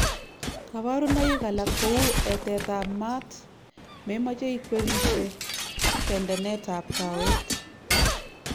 kaparunaik alak kou etet ap maat, memache ikwerishe ak tendenet ap kaweek